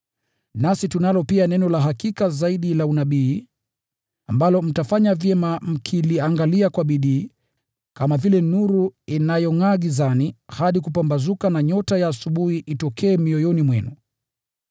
Nasi tunalo pia neno la hakika zaidi la unabii, ambalo mtafanya vyema mkiliangalia kwa bidii, kama vile nuru inavyongʼaa gizani, hadi kupambazuka na nyota ya asubuhi izuke mioyoni mwenu.